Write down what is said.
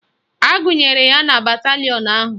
Agụnyere ya na batalịọn ahụ